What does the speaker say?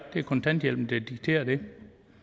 kontanthjælpen der dikterer det